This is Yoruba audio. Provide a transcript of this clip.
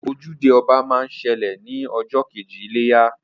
Ojúde ọba máa ń ṣẹlẹ̀ ní ọjọ́ kejì iléyá